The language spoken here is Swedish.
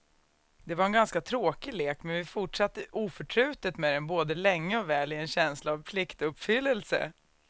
Det var en ganska tråkig lek, men vi fortsatte oförtrutet med den både länge och väl i en känsla av pliktuppfyllelse.